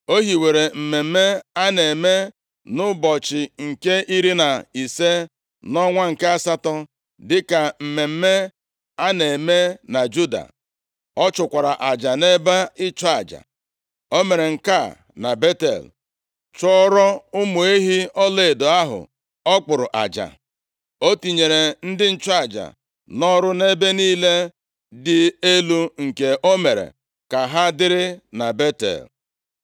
O hiwere mmemme a na-eme nʼụbọchị nke iri na ise nʼọnwa nke asatọ, dịka mmemme a na-eme na Juda. Ọ chụkwara aja nʼebe ịchụ aja. O mere nke a na Betel, chụọrọ ụmụ ehi ọlaedo ahụ ọ kpụrụ aja. O tinyere ndị nchụaja nʼọrụ nʼebe niile dị elu nke o mere ka ha dịrị na Betel.